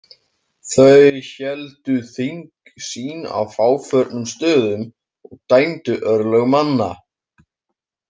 Þau héldu þing sín á fáförnum stöðum og dæmdu örlög manna.